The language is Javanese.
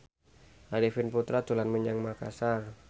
Arifin Putra dolan menyang Makasar